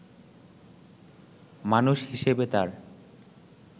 মানুষ হিসেবে তার